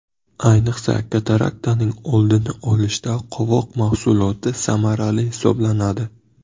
Ayniqsa, kataraktaning oldini olishda qovoq mahsuloti samarali hisoblanadi.